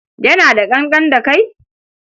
Yana da ƙanƙan da kai?